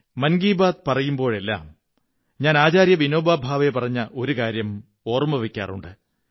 മൻ കീ ബാത്ത് പറയുമ്പോഴെല്ലാം ഞാൻ ആചാര്യ വിനോബാ ഭാവേ പറഞ്ഞ ഒരു കാര്യം ഓര്മ്മക വയ്ക്കാറുണ്ട്